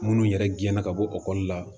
Minnu yɛrɛ gɛna ka bɔ ekɔli la